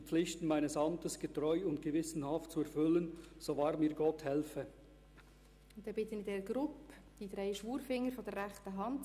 Die Herren Samuel Leuenberger, Stefan Berger, Hervé Gullotti, Patrizio Robbiani legen das Gelübde ab.